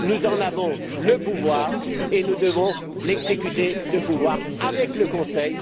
Nous en avons le pouvoir et nous devons l'exécuter, ce pouvoir, avec le Conseil.